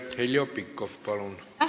Heljo Pikhof, palun!